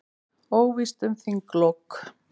Óvíst um þinglok